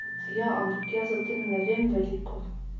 Ja, ampak jaz o tem ne vem veliko...